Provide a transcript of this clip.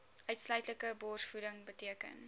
uitsluitlike borsvoeding beteken